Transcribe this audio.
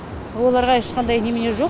оларға ешқандай немене жоқ